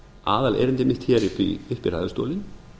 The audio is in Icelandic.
aðalerindi mitt hér upp í ræðustólinn